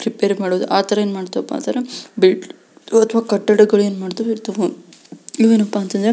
ರಿಪೈರಿ ಮಾಡುವುದು ಆ ಅಂತರ ಏನ್ ಮಾಡ್ತಾವ್ ಅಪ ಅಂದ್ರೆ ಬಲ್ಡ್ ಅಥವಾ ಕಟ್ಟಡಗಳು ಏನ್ ಮಾಡ್ತವೆ ಇರ್ತವು ಇವೇನಪ್ಪಾ ಅಂತ ಅಂದ್ರೆ--